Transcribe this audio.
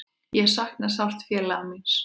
Ég sakna sárt félaga míns.